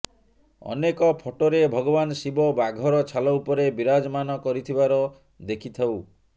ଅନେକ ଫଟୋରେ ଭଗବାନ ଶିବ ବାଘର ଛାଲ ଉପରେ ବିରାଜମାନ କରିଥିବାର ଦେଖିଥାଉ